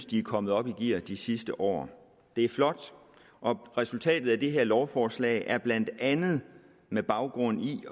de er kommet op i gear de sidste år det er flot og resultatet af det her lovforslag er blandt andet med baggrund i